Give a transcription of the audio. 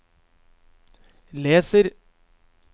leser